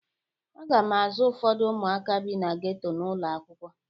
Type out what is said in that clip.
Aga m azụ ụfọdụ ụmụaka bi na ghetto n'ụlọ akwụkwọ.